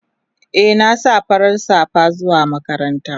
Eh na sa farar safa zuwa makaranta.